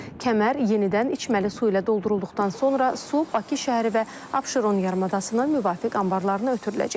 Kəmər yenidən içməli su ilə doldurulduqdan sonra su Bakı şəhəri və Abşeron yarımadasının müvafiq anbarlarına ötürüləcək.